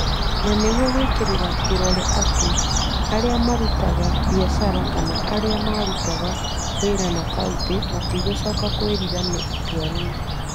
Na nĩguo gwĩkĩra kĩrore atĩ arĩa marutaga biacara kana marutaga wĩra na kauntĩ matigũcoka kwĩrira nĩ itua rĩu.